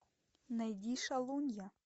найди шалунья